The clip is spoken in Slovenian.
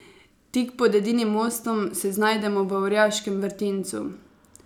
Tik pod edinim mostom se znajdemo v orjaškem vrtincu.